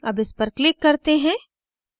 अब इस पर click करते हैं